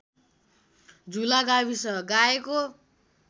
झुला गाविस गाएको